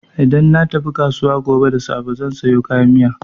Idan na tafi kasuwa gobe da safe zan sayo kayan miya.